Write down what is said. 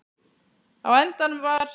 Á endanum var